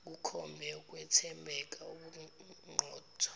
kukhombe ukwethembeka ubuqotho